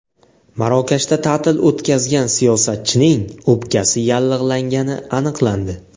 Marokashda ta’til o‘tkazgan siyosatchining o‘pkasi yallig‘langani aniqlandi.